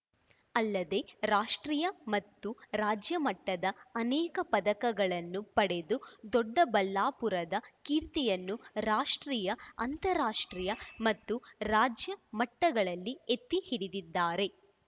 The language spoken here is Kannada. ಅಲ್ಲದೆ ರಾಷ್ಟ್ರೀಯ ಮತ್ತು ರಾಜ್ಯ ಮಟ್ಟದ ಅನೇಕ ಪದಕಗಳನ್ನು ಪಡೆದು ದೊಡ್ಡಬಳ್ಳಾಪುರದ ಕೀರ್ತಿಯನ್ನು ರಾಷ್ಟ್ರೀಯ ಅಂತರಾಷ್ಟ್ರೀಯ ಮತ್ತು ರಾಜ್ಯ ಮಟ್ಟಗಳಲ್ಲಿ ಎತ್ತಿ ಹಿಡಿದಿದ್ದಾರೆ